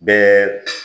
Bɛɛ